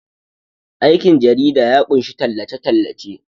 aikin jarida ya kunshi tallace- tallace